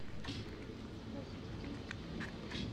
розеткид